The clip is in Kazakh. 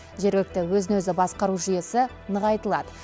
жергілікті өзін өзі басқару жүйесі нығайтылады